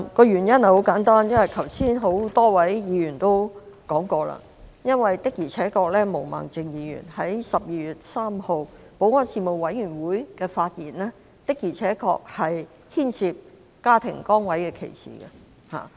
原因很簡單，多位議員剛才已指出，就是毛孟靜議員在12月3日保安事務委員會的發言的確牽涉家庭崗位歧視。